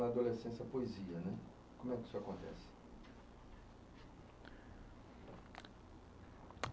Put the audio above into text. com a adolescência a poseia né. Como é que isso acontece?